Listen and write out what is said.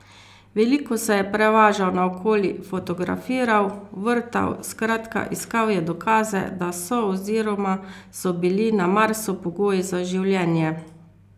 Veliko se je prevažal naokoli, fotografiral, vrtal, skratka iskal je dokaze, da so oziroma so bili na Marsu pogoji za življenje.